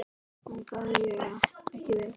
Vangaði ég ekki vel?